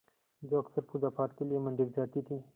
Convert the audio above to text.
जो अक्सर पूजापाठ के लिए मंदिर जाती थीं